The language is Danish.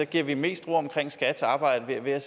giver vi mest ro omkring skats arbejde ved